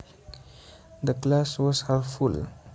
The glass was half full